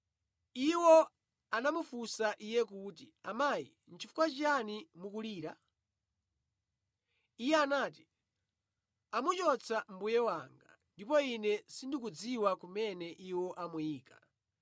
Iwo anamufunsa iye kuti, “Amayi, nʼchifukwa chiyani mukulira?” Iye anati, “Amuchotsa Mbuye wanga, ndipo ine sindikudziwa kumene iwo amuyika.”